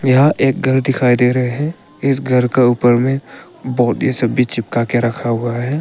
यह एक घर दिखाई दे रहे हैं इस घर के ऊपर में बोर्ड सब भी चिपका के रखा हुआ है।